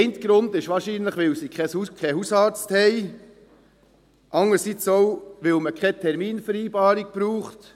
Ein Grund dafür ist wahrscheinlich, dass sie keinen Hausarzt haben, aber auch, weil man keine Terminvereinbarung braucht.